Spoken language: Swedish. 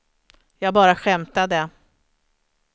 jag bara skämtade